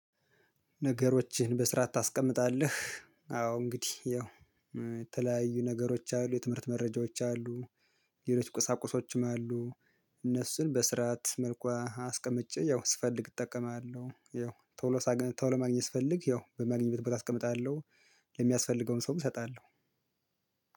ነገሮችን በስርዓት ታስቀምጣለህ አዎ እንግዲህ ያው የተለያዩ ነገሮች አሉ የትምህርት መረጃዎች አሉ። ሌሎች ቁሳቁሶችም አሉ። እነሱን በስርዓት መልኩ አስቀምጬ ያው ስፈልግ እጠቀማለሁ ያው ቶሎ ሳገኝ ቶሎ ማግኘት ስፈልግ ያው በማግኘት ቦታ አስቀምጣለሁ። ለሚያስፈልገውም ሰው እሰጣለሁ።